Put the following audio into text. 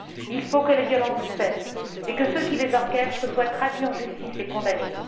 Il faut que les violences cessent et que ceux qui les orchestrent soient traduits en justice et condamnés.